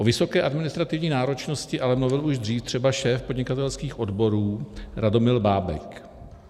O vysoké administrativní náročnosti ale mluvil už dřív třeba šéf podnikatelských odborů Radomil Bábek.